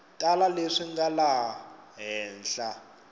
tala leswi nga laha henhla